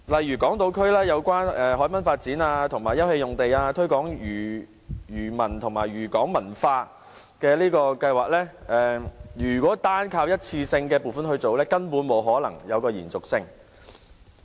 以港島區有關海濱發展和休憩用地、推廣漁民和漁港文化計劃為例，如果只靠一次性撥款，根本不可能有延續性。